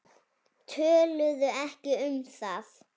Töluðu ekki um það.